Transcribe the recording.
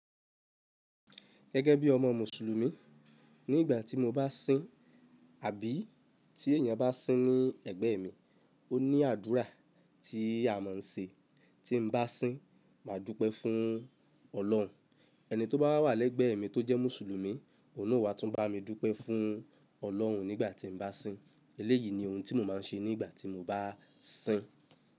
Gẹ́gẹ́ bí ọmọ Mùsùlùmí, ní ìgbà tí mo bá sín àbí tí èèyàn bá sín ní ẹ̀gbẹ́ mi, ó ní àdúrà tí a máa ń ṣe tí n bá sín, máa dúpẹ́ fún Ọlọ́run. Ẹni tó bá wa wà lẹ́gbẹ̀ẹ́ mi tó jẹ́ Mùsùlùmí, òun naa o wa tún bá mi dúpẹ́ fún Ọlọ́run nígbà tí n bá sín. Eléyìí ni ohun tí mo máa ń ṣe nígbà tí mo bá sín.